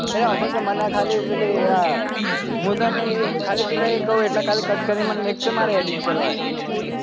અલ્યા હોભાડ કે મને ખાલી પેલી અ મુ તને એક ખાલી પેલા કવ એટલે cut મુકાલ કે મારે edit કરવા હે